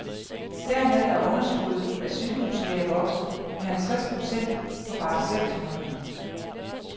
Dermed er underskuddet af sygehuslæger vokset med halvtreds procent på bare seks måneder.